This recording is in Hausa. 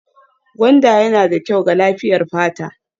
Gwanda yana da kyau ga lafiyar fata